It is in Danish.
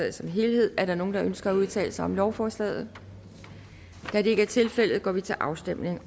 i sin helhed er der nogen der ønsker at udtale sig om lovforslaget da det ikke er tilfældet går vi til afstemning